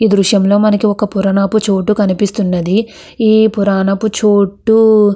ఈ దృశ్యం లో మనకి ఒక పురానపు చోటు కనిపిస్తున్నది ఈ పురానపు చోటు --